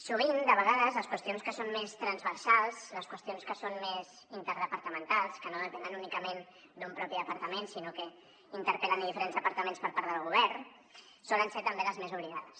sovint de vegades les qüestions que són més transversals les qüestions que són més interdepartamentals que no depenen únicament d’un propi departament sinó que interpel·len diferents departaments per part del govern solen ser també les més oblidades